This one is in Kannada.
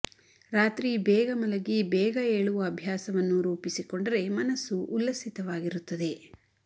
ರಾತ್ರಿ ಬೇಗ ಮಲಗಿ ಬೇಗ ಏಳುವ ಅಭ್ಯಾಸವನ್ನು ರೂಪಿಸಿಕೊಂಡರೆ ಮನಸು ಉಲ್ಲಸಿತವಾಗಿರುತ್ತದೆ